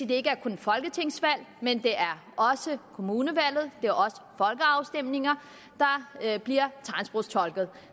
det ikke kun er folketingsvalg men også kommunevalg og folkeafstemninger der bliver tegnsprogstolket